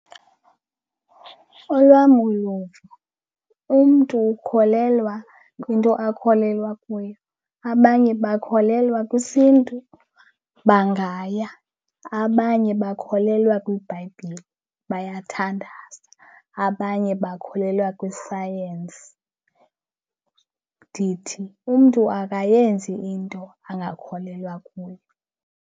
Olwam uluvo, umntu ukholelwa kwinto akholelwa kuyo. Abanye bakholelwa kwisiNtu bangaya, abanye bakholelwa kwiBhayibhile bayathandaza, abanye bakholelwa kwisayensi. Ndithi umntu akayenzi into angakholelwa kuyo.